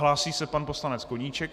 Hlásí se pan poslanec Koníček.